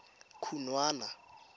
khunwana